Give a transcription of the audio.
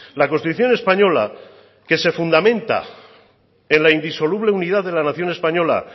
la constitución española que se fundamenta en la indisoluble unidad de la nación española